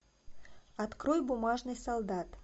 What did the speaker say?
открой бумажный солдат